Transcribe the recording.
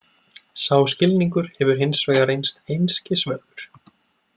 Sá skilningur hefur hins vegar reynst einskis verður.